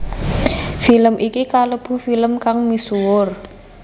Film iki kalebu film kang misuwur